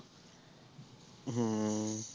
ਹਮ